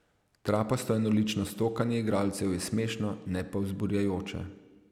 Trapasto enolično stokanje igralcev je smešno, ne pa vzburjajoče.